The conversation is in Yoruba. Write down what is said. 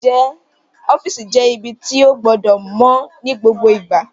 Ọ́fìsì jẹ́ ibi tí ó gbọdọ̀ mọ́ ní gbogbo ìgbà